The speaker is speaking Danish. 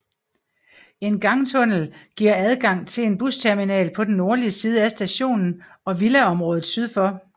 En gangtunnel giver adgang til en busterminal på den nordlige side af stationen og villaområdet syd for